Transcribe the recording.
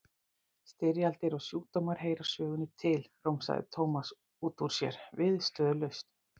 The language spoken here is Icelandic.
Styrjaldir og sjúkdómar heyra sögunni til, romsaði Thomas upp úr sér viðstöðulaust.